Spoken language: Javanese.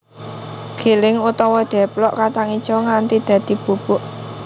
Giling utawa deplok kacang ijo nganti dadi bubuk